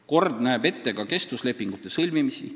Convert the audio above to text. Kord näeb ette ka kestvuslepingute sõlmimist.